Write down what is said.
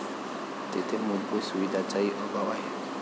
तेथे मूलभूत सुविधांचाही अभाव आहे.